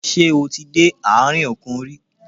Ṣé o ti dé àárín òkun rí?